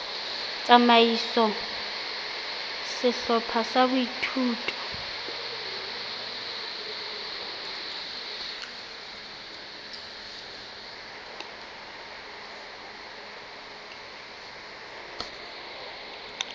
tsamaiso ya sehlopha sa boithuto